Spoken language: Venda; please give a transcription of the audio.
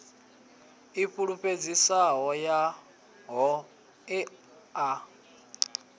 i fulufhedzisaho ya ho ea